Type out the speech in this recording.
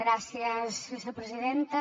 gràcies vicepresidenta